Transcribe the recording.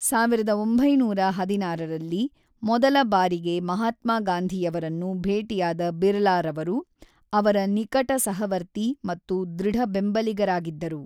ಸಾವಿರದ ಒಂಬೈನೂರ ಹದಿನಾರರಲ್ಲಿ ಮೊದಲ ಬಾರಿಗೆ ಮಹಾತ್ಮ ಗಾಂಧಿಯವರನ್ನು ಭೇಟಿಯಾದ ಬಿರ್ಲಾರವರು, ಅವರ ನಿಕಟ ಸಹವರ್ತಿ ಮತ್ತು ದೃಢ ಬೆಂಬಲಿಗರಾಗಿದ್ದರು.